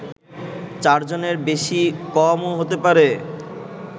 চারজনের বেশি-কমও হতে পারে